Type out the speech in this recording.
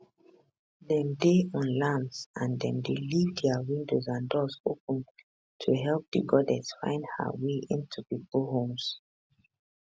dem dey on lamps and dem dey leave dia windows and doors open to help di goddess find her way into pipo homes